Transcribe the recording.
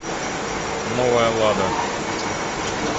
новая лада